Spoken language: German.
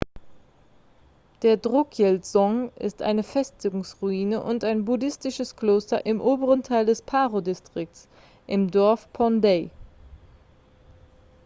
der drukyel-dzong ist eine festungsruine und ein buddhistisches kloster im oberen teil des paro-distrikts im dorf phondey